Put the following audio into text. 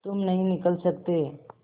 तुम नहीं निकल सकते